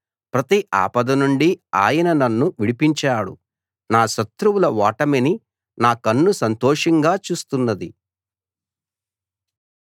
ప్రతి ఆపద నుండి ఆయన నన్ను విడిపించాడు నా శత్రువుల ఓటమిని నా కన్ను సంతోషంగా చూస్తున్నది